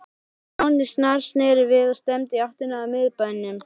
Stjáni snarsneri við og stefndi í áttina að miðbænum.